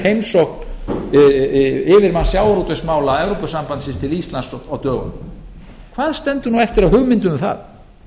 eftir heimsókn yfirmanns sjávarútvegsmála evrópusambandsins til íslands á dögunum hvað stendur eftir af hugmyndum um það